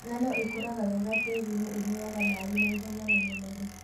Ngano ĩkũraga wega tĩrinĩ ũyuaga maĩ naihenya na mũnoru.